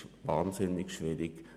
Es ist wahnsinnig schwierig.